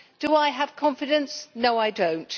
Do I have confidence? No I do not.